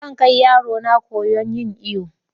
Zan ƙai yarona koya'n yin iyo yau.